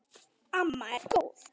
Amma er góð!